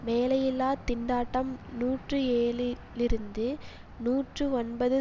வேலையில்லா திண்டாட்டம் நூற்றி ஏழு லிருந்து நூற்றி ஒன்பது